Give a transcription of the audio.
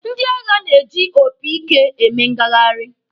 Ndị agha na-eji opi ike eme ngagharị.